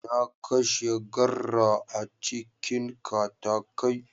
Na kashe garra a cikin katakai.